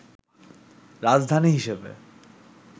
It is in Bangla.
রাজধানী হিসেবে